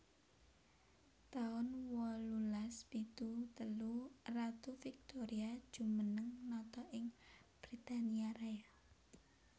taun wolulas pitu telu Ratu Victoria jumeneng nata ing Britania Raya